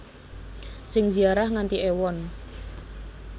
Sing ziarah nganti ewon